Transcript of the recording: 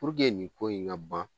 nin ko in ŋa ban